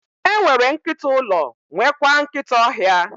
E nwere nkịta ụlọ, nwekwaa nkịta ọhịa.